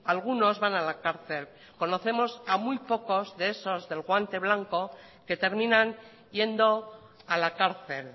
algunos van a la cárcel conocemos a muy pocos de esos del guante blanco que terminan yendo a la cárcel